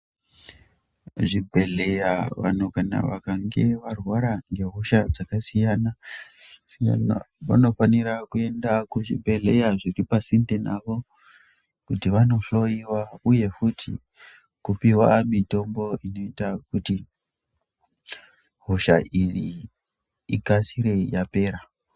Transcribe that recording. Kuzvibhedhleya vantu vakange varwara ngehosha dzakasiyana -siyana ,vanofanira kuenda kuzvibhedhleya zviripasinde navo kuti vandohloiwa uye futi kupiwa mitombo inoita kuti hosha iyi ikasire yapera